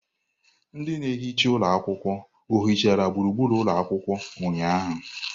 Ndị na-ehicha ụlọ ohichara gburugburu ụlọ akwụkwọ ụnyahụ?